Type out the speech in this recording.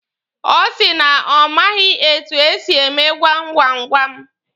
Ọ sị na ọ maghị etu esị eme gwam gwam gwam.